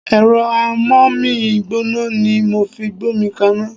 Ẹ̀rọ Ámómi gbóná ni mo fi gbómi kaná.